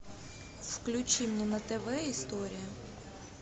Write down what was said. включи мне на тв история